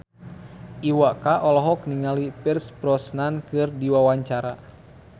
Iwa K olohok ningali Pierce Brosnan keur diwawancara